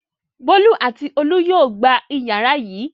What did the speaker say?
Bólú àti Olú yóò gba ìyàrá yìí.